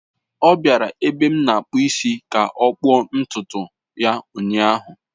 Ọ bịara ebe m na-akpụ isi ka ọ kpụọ ntutu ya ụnyahụ.